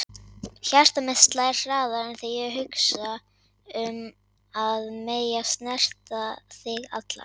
Hjarta mitt slær hraðar þegar ég hugsa um að mega snerta þig allan.